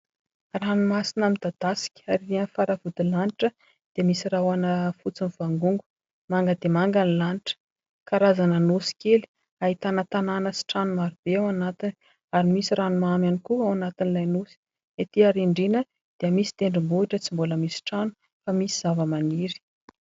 Ranomasina midadasika ary erỳ amin'ny faravodilanitra dia misy rahona fotsy mivangongo. Manga dia manga ny lanitra. Karazana nosy kely ahitana tanàna sy trano maro be ao anatiny ary misy ranomamy ihany koa ao anatin'ilay nosy. Etỳ arindrina dia misy tendrombohitra tsy mbola misy trano fa zavamaniry.